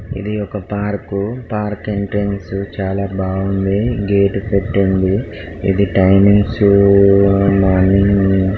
ఇది ఒక park park entrance చాల బాగుంది గేట్ పెట్టుంది ఇది టైమింగ్స్ మార్నింగ్ --